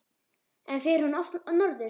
En fer hún oft norður?